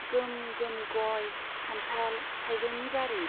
गोम गोम गय, खान्थाल, थाइजौनि बारि।